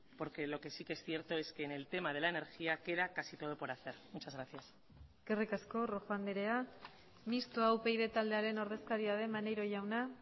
porque lo que sí que es cierto es que en el tema de la energía queda casi todo por hacer muchas gracias eskerrik asko rojo andrea mistoa upyd taldearen ordezkaria den maneiro jauna